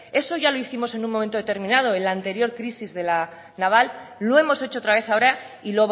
eso ya lo hicimos en un momento determinado en la anterior crisis de la naval lo hemos hecho otra vez ahora y